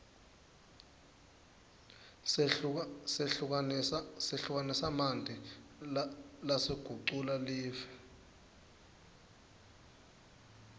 sehlukanisamanti lasagucula live